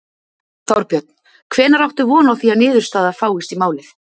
Þorbjörn: Hvenær áttu von á því að niðurstaða fáist í málið?